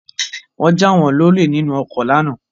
Wọ́n jà wọ́n lọlé nínú ọkọ lánàá